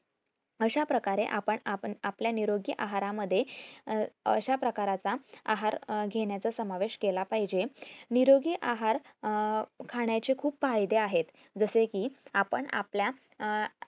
अशा प्रकारे आपण आपण आपल्या निरोगी आहार मध्ये अं अशाप्रकारचा आहार घेण्याचा समावेश केला पाहिजे निरोगी आहार अं खाण्याचे खूप फायदे आहे आपण आपल्या